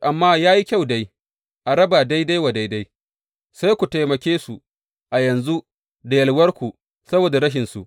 Amma ya yi kyau dai a raba daidai wa daida, sai ku taimake su a yanzu da yalwarku saboda rashinsu.